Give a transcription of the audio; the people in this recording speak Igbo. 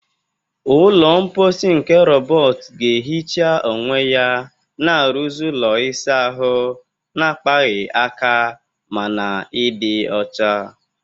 Ụlọ mposi nke rọbọt ga-ehicha onwe ya, na-arụzi ụlọ ịsa ahụ na-akpaghị aka ma hụ na ịdị ọcha